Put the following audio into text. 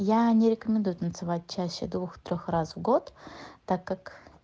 я не рекомендую танцевать чаще двух трёх раз в год так как